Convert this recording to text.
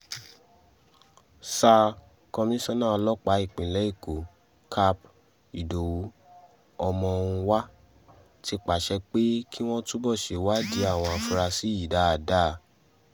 sa komisanna ọlọ́pàá ìpínlẹ̀ èkó cáp ìdòwú ọmọhunwá ti pàṣẹ pé kí wọ́n túbọ̀ ṣèwádìí àwọn afurasí yìí dáadáa